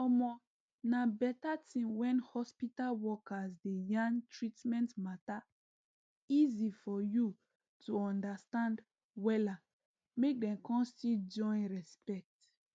omo na better tin when hospital workers dey yarn treatment mater easy for you to understand wella mk dem con still join respect